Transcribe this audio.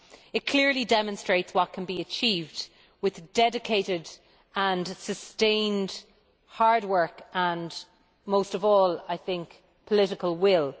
It clearly demonstrates what can be achieved with dedicated and sustained hard work and most of all, political will.